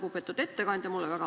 Lugupeetud ettekandja!